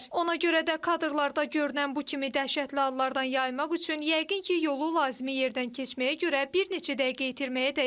Ona görə də kadrlarda görünən bu kimi dəhşətli hallardan yayınmaq üçün yəqin ki, yolu lazımi yerdən keçməyə görə bir neçə dəqiqə itirməyə dəyər.